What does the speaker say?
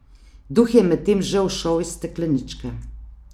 Duh je medtem že ušel iz stekleničke ...